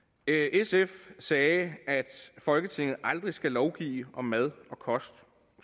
sf sagde at folketinget aldrig skal lovgive om mad og kost